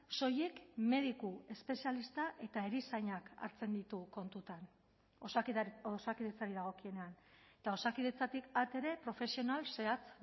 soilik mediku espezialista eta erizainak hartzen ditu kontutan osakidetzari dagokienean eta osakidetzatik at ere profesional zehatz